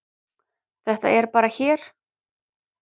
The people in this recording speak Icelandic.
Þetta er bara hér.